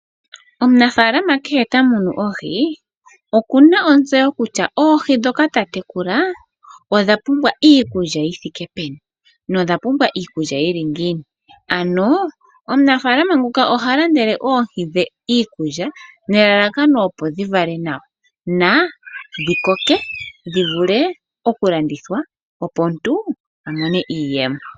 Omunafaalama kehw ta munu oohi, okuna ontseyo kutya oohi ndhoka ta tekula odha pumbwa iikulya yi thike peni nodha pumbwa iikulya yili ngiini, ano omunafaalama nguka oha landele oohi dhe iikulya nelalakano opo dhi vale nawa, na dhikoke dhi vule oku landithwa opo omuntu a mone iiyemo.